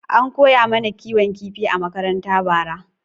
An koya mana kiwon kifi a makaranta bara.